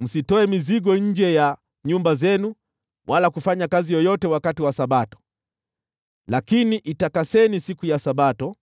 Msitoe mizigo nje ya nyumba zenu wala kufanya kazi yoyote wakati wa Sabato, lakini itakaseni siku ya Sabato,